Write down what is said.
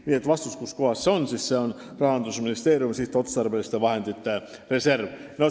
Nii et vastus küsimusele, kuskohas see on: see on Rahandusministeeriumi sihtotstarbeliste vahendite reserv.